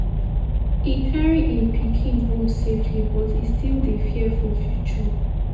e carry im pikin home safely but e still dey fear for future.